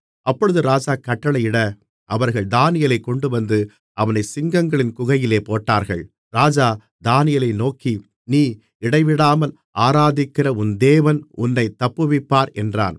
அப்பொழுது ராஜா கட்டளையிட அவர்கள் தானியேலைக் கொண்டுவந்து அவனைச் சிங்கங்களின் குகையிலே போட்டார்கள் ராஜா தானியேலை நோக்கி நீ இடைவிடாமல் ஆராதிக்கிற உன் தேவன் உன்னைத் தப்புவிப்பார் என்றான்